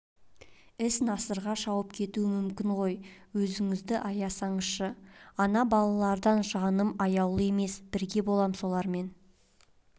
іс насырға шауып кету мүмкін ғой өзіңізді аясаңызшы ана балалардан жаным аяулы емес бірге болам солармен